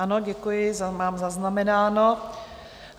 Ano, děkuji, mám zaznamenáno.